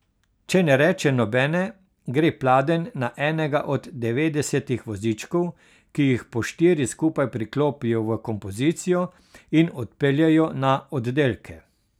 Če ne reče nobene, gre pladenj na enega od devetdesetih vozičkov, ki jih po štiri skupaj priklopijo v kompozicijo in odpeljejo na oddelke.